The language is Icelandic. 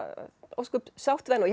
ósköp sátt við hana ég